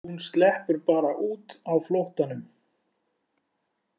Hún sleppur bara út á flóttanum.